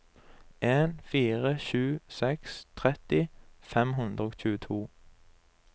en fire sju seks tretti fem hundre og tjueto